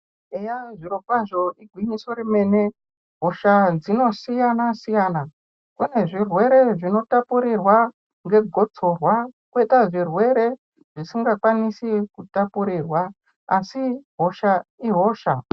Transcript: Eya zvirokwazvo igwinyiso remene hosha dzinosiyana-siyana. Kune zvirwere zvinotapurirwa ngegotsorwa koita zvirwere zvisingakwanisi kutapurirwa, asi hosha ihosha.